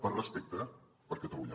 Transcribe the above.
per respecte per catalunya